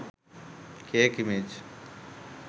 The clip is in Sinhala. cake image